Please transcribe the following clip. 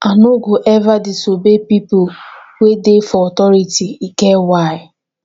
i no go eva disobey pipo wey dey for authority e get why